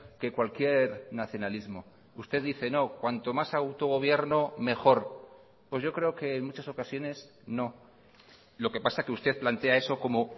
que cualquier nacionalismo usted dice no cuanto más autogobierno mejor pues yo creo que en muchas ocasiones no lo que pasa que usted plantea eso como